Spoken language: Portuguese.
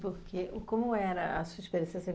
Por que, e como era a sua experiência?